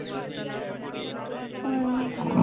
ਪੰਜ